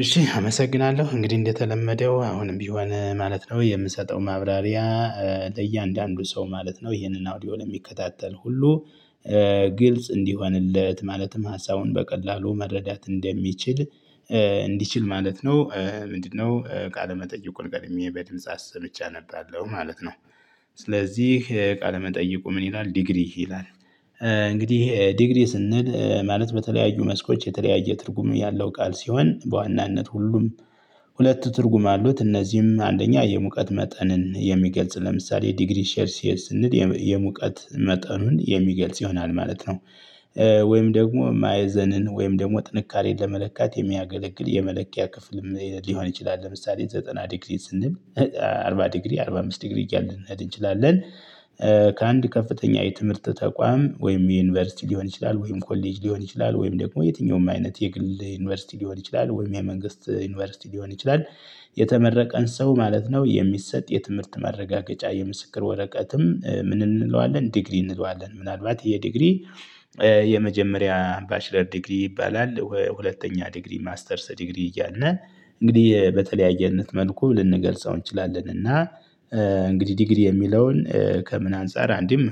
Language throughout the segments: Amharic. እሺ አመሰግናለሁ እንግዲህ እንደተለመደው አሁንም ቢሆን ማለት ነው የምሰጠው ማብራሪያ ለእያንዳንዱ ሰው ማለት ነው ይሄንን አውዲዮ ለሚከታተል ሁሉ ግልጽ እንዲሆንለት ማለትም ሀሳቡን በቀላሉ መረዳት እንደሚችል እንዲችል ማለት ነው። ምንድነው ቃለመጠይቁን ቀድሜ በድምጽ አስምቼ አነባለሁ ማለት ነው። ስለዚህ ቃለመጠይቁ ምን ይላል ዲግሪ ይላል? እንግዲህ ዲግሪ ስንል ማለት በተለያዩ መስኮች የተለያየ ትርጉም ያለው ቃል ሲሆን በዋናነት ሁሉም ሁለት ትርጉም አሉት እነዚህም አንደኛ የሙቀት መጠንን የሚገልጽ ለምሳሌ ዲግሪ ሴልሺየስ ስንል የሙቀት መጠኑን የሚገልጽ ይሆናል ማለት ነው። ወይም ደግሞ ማዕዘንን ወይም ደግሞ ጥንካሬን ለመለካት የሚያገለግል የመለኪያ ክፍልም ሊሆን ይችላል ለምሳሌ ዘጠና ዲግሪ ስንል አርባ ዲግሪ አርባ አምስት ዲግሪ እያልን ልንሄድ እንችላለን። ከአንድ ከፍተኛ የትምህርት ተቋም ወይም የዩኒቨርሲቲ ሊሆን ይችላል ወይም ኮሌጅ ሊሆን ይችላል ወይም ደግሞ የትኛውም አይነት የግል ዩኒቨርሲቲ ሊሆን ይችላል ወይም የመንግስት ዩኒቨርሲቲ ሊሆን ይችላል። የተመረቀን ሰው ማለት ነው የሚሰጥ የትምህርት ማረጋገጫ የምስክር ወረቀትም ምን እንለዋለን ዲግሪ እንለዋለን ምናልባት ይሄ ዲግሪ። የመጀመሪያ ባችለር ዲግሪ ይባላል ሁለተኛ ዲግሪ ማስተርስ ዲግሪ እያልን እንግዲህ በተለያየነት መልኩ ልንገልጸው እንችላለን። እና እንግዲህ ዲግሪ የሚለውን ከምን አንፃር አንዴም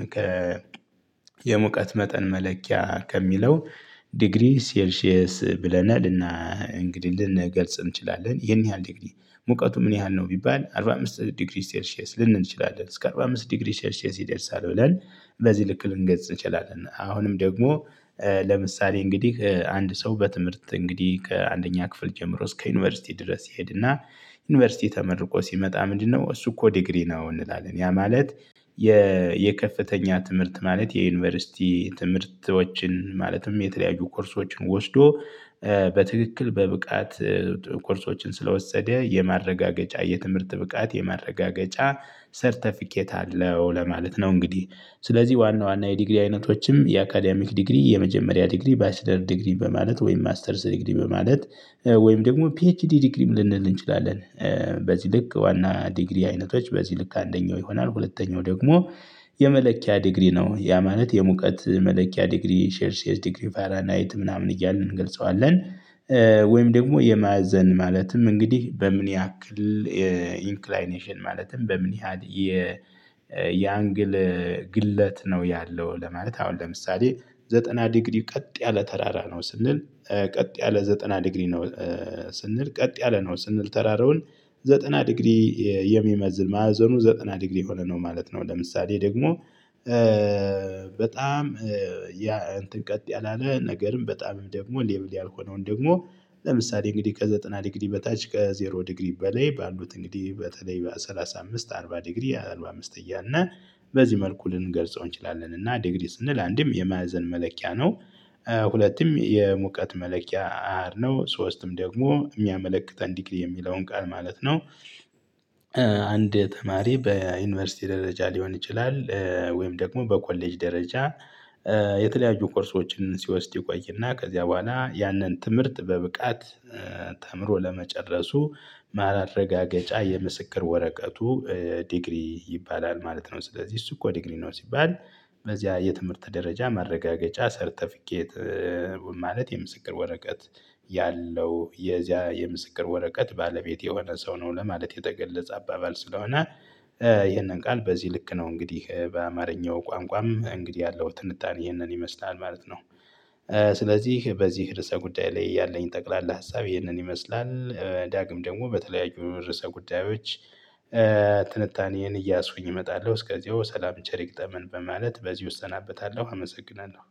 የሙቀት መጠን መለኪያ ከሚለው ዲግሪ ሴልሺየስ ብለን እንግዲህ ልንገልጽ እንችላለን። ይሄን ያህል ዲግሪ ሙቀቱ ምን ያህል ነው ቢባል አርባ አምስት ዲግሪ ሴልሺየስ ልንል እንችላለን። እስከ አርባ አምስት ዲግሪ ሴልሺየስ ይደርሳል ብለን በዚህ ልክ ልንገልጽ እንችላለን። አሁንም ደግሞ ለምሳሌ እንግዲህ አንድ ሰው በትምህርት እንግዲህ ከአንደኛ ክፍል ጀምሮ እስከ ዩኒቨርሲቲ ድረስ ይሄድና። ዩኒቨርሲቲ ተመርቆ ሲመጣ ምንድነው እሱ እኮ ዲግሪ ነው? እንላለን ያ ማለት የከፍተኛ ትምህርት ማለት የዩኒቨርሲቲ ትምህርቶችን ማለትም የተለያዩ ኮርሶችን ወስዶ በትክክል በብቃት ኮርሶችን ስለወሰደ የማረጋገጫ የትምህርት ብቃት የማረጋገጫ ሰርተፊኬት አለው። ለማለት ነው እንግዲህ ስለዚህ ዋና ዋና የዲግሪ አይነቶችም የአካዳሚክ ዲግሪ የመጀመሪያ ዲግሪ ባችለር ዲግሪ በማለት ወይም ማስተርስ ዲግሪ በማለት ወይም ደግሞ ፒኤችዲ ዲግሪም ልንል እንችላለን። በዚህ ልክ ዋና ዲግሪ አይነቶች በዚህ ልክ አንደኛው ይሆናል ሁለተኛው ደግሞ የመለኪያ ዲግሪ ነው ያ ማለት የሙቀት መለኪያ ዲግሪ ሴልሺየስ ዲግሪ ፋራናይት ምናምን እያልን እንገልጸዋለን። ወይም ደግሞ የማዕዘን ማለትም እንግዲህ በምን ያክል ኢንክላይኔሽን ማለትም በምን ያህል የአንግል ግለት ነው። ያለው ለማለት አሁን ለምሳሌ ዘጠና ዲግሪ ቀጥ ያለ ተራራ ነው ስንል ቀጥ ያለ ዘጠና ዲግሪ ነው። ስንል ቀጥ ያለ ነው ስንል ተራራውን ዘጠና ዲግሪ የሚመዝን ማዕዘኑ ዘጠና ዲግሪ የሆነ ነው ማለት ነው። ለምሳሌ ደግሞ በጣም እንትን ቀጥ ያላለ ነገርም በጣም ደግሞ ሌቭል ያልሆነውን ደግሞ ለምሳሌ እንግዲህ ከዘጠና ድግሪ በታች ከዜሮ ዲግሪ በላይ ባሉት እንግዲህ በተለይ በሰላሳ አምስት አርባ ዲግሪ አርባ አምስት እያልን በዚህ መልኩ ልንገልጸው እንችላለን። እና ዲግሪ ስንል አንዴም የማዕዘን መለኪያ ነው። ሁለቴም የሙቀት መለኪያ አሀድ ነው ሶስትም ደግሞ የሚያመለክተን ዲግሪ የሚለውን ቃል ማለት ነው። አንድ ተማሪ በዩኒቨርሲቲ ደረጃ ሊሆን ይችላል። ወይም ደግሞ በኮሌጅ ደረጃ የተለያዩ ኮርሶችን ሲወስድ ይቆይና ከዚያ በኋላ ያንን ትምህርት በብቃት ተምሮ ለመጨረሱ ማራረጋገጫ የምስክር ወረቀቱ ዲግሪ ይባላል ማለት ነው። ስለዚህ እሱ እኮ ዲግሪ ነው ሲባል። በዚያ የትምህርት ደረጃ ማረጋገጫ ሰርተፊኬት ማለት የምስክር ወረቀት ያለው የዚያ የምስክር ወረቀት ባለቤት የሆነ ሰው ነው ለማለት የተገለጸ አባባል ስለሆነ። ይሄንን ቃል በዚህ ልክ ነው እንግዲህ በአማርኛው ቋንቋም እንግዲህ ያለው ትንታኔ ይህንን ይመስላል ማለት ነው። ስለዚህ በዚህ ርዕሰ ጉዳይ ላይ ያለኝ ጠቅላላ ሀሳብ ይህንን ይመስላል ዳግም ደግሞ በተለያዩ ርዕሰ ጉዳዮች ትንታኔን እየያስኩኝ እመጣለሁ እስከዚያው ሰላም ቸር ይግጠመን በማለት በዚው እሰናበታለሁ። አመሰግናለሁ